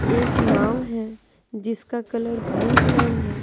एक नाँव है जिसका कलर ब्लू कलर है।